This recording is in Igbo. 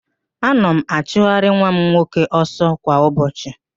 Ana m achụgharị nwa m nwoke ọsọ kwa ụbọchị